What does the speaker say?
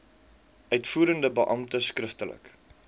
uitvoerende beampte skriftelik